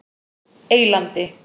Eylandi